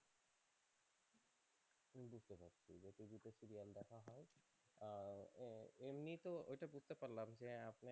এমনিতে